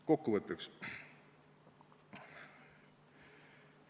Kokkuvõtteks.